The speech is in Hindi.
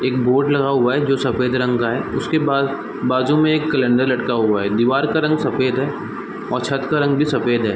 एक बोर्ड लगा हुआ है जो सफ़ेद रंग का है उसके बा-- बाजू में एक कैलेंडर लटका हुआ है दीवार का रंग सफ़ेद है और छत का रंग भी सफ़ेद है